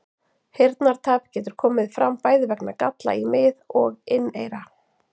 Heyrnartap getur komið fram bæði vegna galla í mið- og inneyra.